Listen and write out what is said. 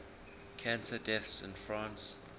cancer deaths in france